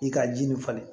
I ka ji nin falen